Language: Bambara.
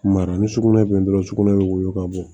Mara ni sugunɛ bɛ dɔrɔn sugunɛ bɛ woyon ka bɔ